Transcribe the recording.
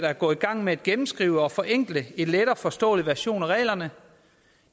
er gået i gang med at gennemskrive og forenkle til en let og forståelig version af reglerne